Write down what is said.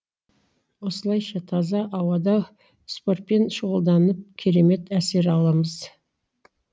осылайша таза ауада спортпен шұғылданып керемет әсер аламыз